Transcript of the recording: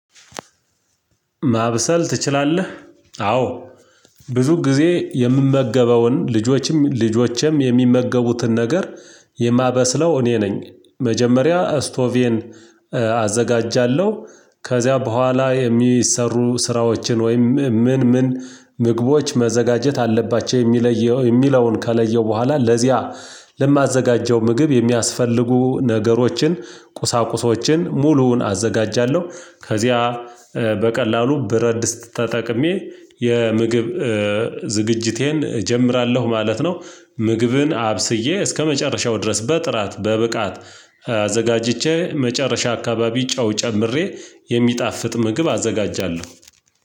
ማብሰል ትችላለህ? አዎ ብዙ ጊዜ የምመገበውን ልጆችም ልጆቼም የሚመገቡትን ነገር የማበስለው እኔ ነኝ። መጀመሪያ አስቶቬን አዘጋጃለሁ ከዚያ በኋላ የሚሰሩ ስራዎችን ወይም ምን ምን ምግቦች መዘጋጀት አለባቸው የሚለየው የሚለየውን ከለየው በኋላ ለዚያ ለማዘጋጀው ምግብ የሚያስፈልጉ ነገሮችን ቁሳቁሶችን ሙሉውን አዘጋጃለሁ ከዚያ በቀላሉ ብረድስት ተጠቅሜ የምግብ ዝግጅቴን እጀምራለሁ ማለት ነው። ምግብን አብስዬ እስከመጨረሻው ድረስ በጥራት በብቃት አዘጋጅቼ መጨረሻ አካባቢ ጨው ጨምሬ የሚጣፍጥ ምግብ አዘጋጃለሁ።